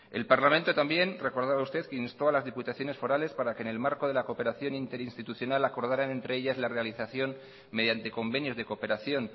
el parlamento también recordaba usted instó a las diputaciones forales para que en el marco de la cooperación interinstitucional acordaran entre ellas la realización mediante convenios de cooperación